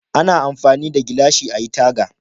Ana amfani da gilashi ayi taga